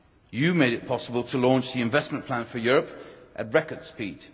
You made it possible to launch the Investment Plan for Europe at record speed.